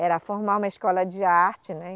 Era formar uma escola de arte, né?